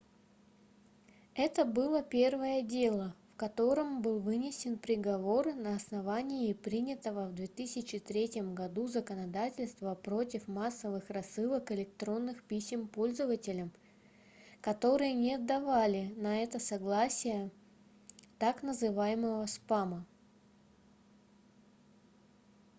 это было первое дело в котором был вынесен приговор на основании принятого в 2003 году законодательства против массовых рассылок электронных писем пользователям которые не давали на это согласие так называемого спама